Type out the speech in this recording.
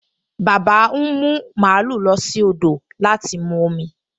Bàbá ń mú màlúù lọ sí odò láti mu omi